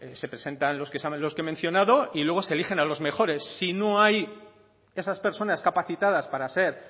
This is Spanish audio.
se presentan los que he mencionado y luego se eligen a los mejores si no hay esas personas capacitadas para ser